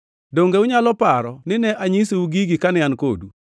Donge unyalo paro ni ne anyisou gigi kane an kodu?